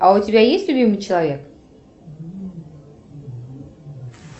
а у тебя есть любимый человек